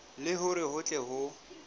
le hore ho tle ho